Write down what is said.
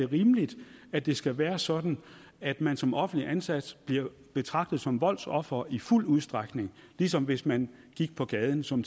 rimeligt at det skal være sådan at man som offentligt ansat bliver betragtet som voldsoffer i fuld udstrækning ligesom hvis man gik på gaden som